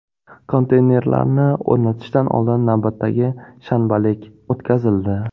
Konteynerlarni o‘rnatishdan oldin navbatdagi shanbalik o‘tkazildi.